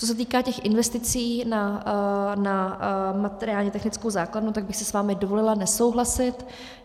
Co se týká těch investic na materiálně technickou základnu, tak bych si s vámi dovolila nesouhlasit.